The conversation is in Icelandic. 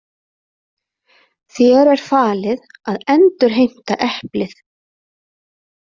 Þér er falið að endurheimta eplið.